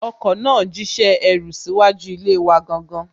Ọkọ náà jíṣẹ́ ẹrú síwájú ilé wa gangan